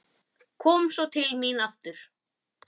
Kom svo til mín aftur.